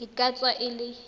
e ka tswa e le